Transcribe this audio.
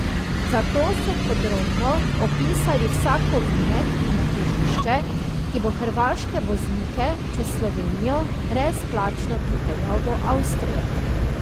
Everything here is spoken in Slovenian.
Zato so podrobno opisali vsak ovinek in križišče, ki bo hrvaške voznike čez Slovenijo brezplačno pripeljal do Avstrije.